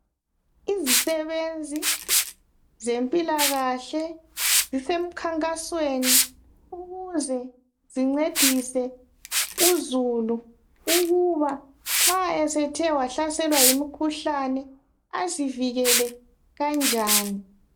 Izisebenzi zempilakahle zisemkhankasweni ukuze zincedise uzulu ukuba nxa esethe wahlaselwa yimikhuhlane azivikele kanjani.